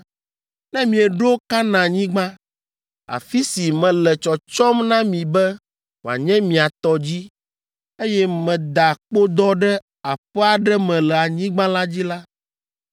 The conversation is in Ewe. “Ne mieɖo Kanaanyigba, afi si mele tsɔtsɔm na mi be wòanye mia tɔ dzi, eye meda kpodɔ ɖe aƒe aɖe me le anyigba la dzi la,